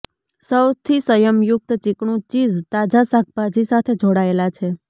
સૌથી સંયમયુક્ત ચીકણું ચીઝ તાજા શાકભાજી સાથે જોડાયેલા છે